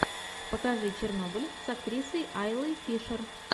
покажи чернобыль с актрисой айлой фишер